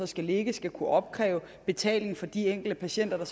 skal ligge skal kunne opkræve betaling for de enkelte patienter